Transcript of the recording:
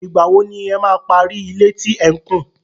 Ìgbà wo ni ẹ máa parí ilé tí ẹ̀ ń kùn?